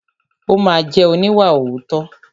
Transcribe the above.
Ó ma jẹ́ oníwàòótọ́.